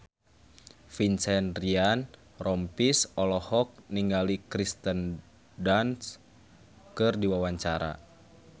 Vincent Ryan Rompies olohok ningali Kirsten Dunst keur diwawancara